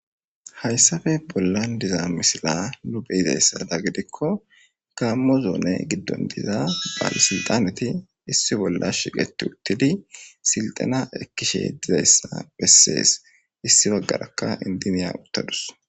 Hayssafe bollan diza misila luphe yizayssada gidikko kaammozone giddon diza baalisinxaneti issi bolla shiqeti uttidi silxana ekkishe dizayssa bessees issi baggarakka indiniya uttadus